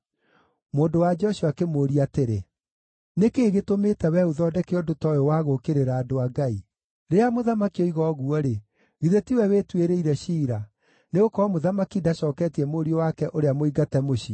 Mũndũ-wa-nja ũcio akĩmũũria atĩrĩ, “Nĩ kĩĩ gĩtũmĩte wee ũthondeke ũndũ ta ũyũ wa gũũkĩrĩra andũ a Ngai? Rĩrĩa mũthamaki oiga ũguo-rĩ, githĩ tiwe wĩtuĩrĩire ciira, nĩgũkorwo mũthamaki ndacooketie mũriũ wake ũrĩa mũingate mũciĩ?